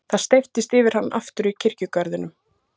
Það steyptist yfir hann aftur í kirkjugarðinum.